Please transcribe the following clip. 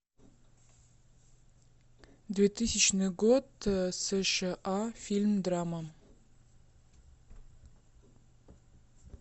двухтысячный год сша фильм драма